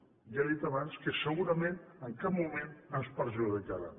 ja li he dit abans que segurament en cap moment ens perjudicaran